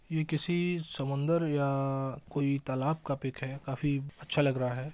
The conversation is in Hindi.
ये किसी समुन्दर या अअअअ कोई तालाब का पिक है काफी अच्छा लग रहा है।